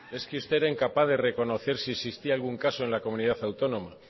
es que usted era incapaz de reconocer si existía algún caso en la comunidad autónoma